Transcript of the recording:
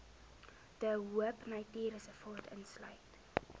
de hoopnatuurreservaat insluit